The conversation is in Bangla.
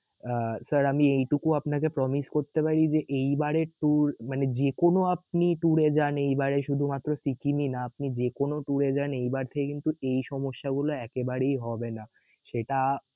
আহ sir এইটুকু আমি আপনাকে promise করতে পারি যে এইবারের tour মানে যেকোনো আপনি tour এ যান এইবারে শুধুমাত্র সিকিম ই না আপনি যেকোনো tour যান এইবার থেকে কিন্তু এই সমস্যা গুলেো একেবারেই হবে না সেটা